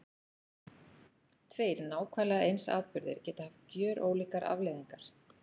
Tveir nákvæmlega eins atburðir geta haft gjörólíkar afleiðingar.